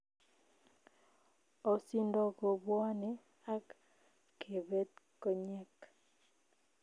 Osindoo kobwanee ak kebeet konyeek